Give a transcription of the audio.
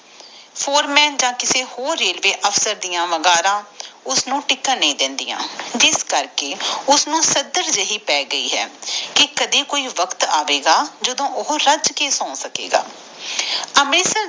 for ਮਨ ਜਾ ਕਿਸੇ ਹੋਰ ਰੇਲਵੇ ਅਫਸਰ ਡਾ ਵਗੈਰਾ ਉਸ ਨੂੰ ਟਿਕਣ ਨੀ ਦੇਂਦਾ ਜਿਸ ਕਰਕੇ ਉਸ ਨੂੰ ਸਦਰ ਜੀ ਪੈ ਗਯੀ ਆ ਕਿ ਕੋਪਿ ਵਕ਼ਤ ਆਵੇਗਾ ਜਦੋ ਉਹ ਰੱਜ ਕੇ ਸੋਵੇਗਾ